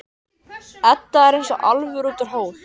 Edda er eins og álfur út úr hól.